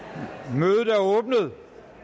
mødet er åbnet